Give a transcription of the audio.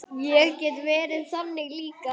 Ég get verið þannig líka.